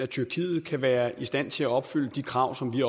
tyrkiet kan være i stand til at opfylde de krav som vi